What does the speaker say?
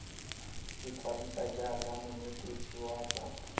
ikwadisa jaaka monetetshi wa tsa